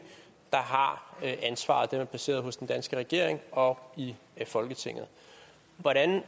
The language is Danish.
der har ansvaret det er placeret hos den danske regering og i folketinget hvordan